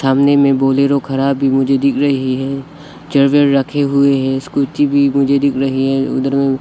सामने में बोलेरो खड़ा भी मुझे दिख रही है चेयर वेयर रखे हुए है स्कूटी भी मुझे दिख रही है उधर में --